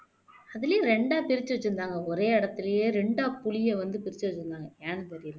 அதுலயும் இரண்டா பிரிச்சு வச்சிருந்தாங்க ஒரே இடத்திலேயே இரண்டா புலிய வந்து பிரிச்சு வச்சிருந்தாங்க ஏன்னு தெரில